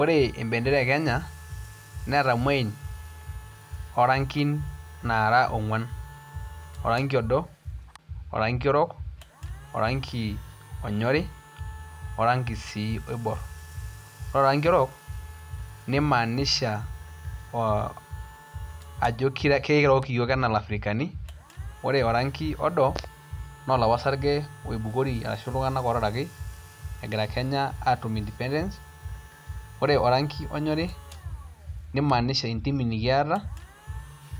Ore embentera e Kenya neeta imuain orankin naara ong'uan oranki odo oranki orok oranki onyori oranki sii oibor ore oraki orok neimaanisha ojo kiirook iyiok enaa iladirikani ore oranki odo naa olapa sarge oibukori tenkaraki iltung'anak ootaraki egira Kenya aatum independence ore oranki onyori nimaanisha intimi nikiata